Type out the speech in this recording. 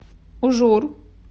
ужур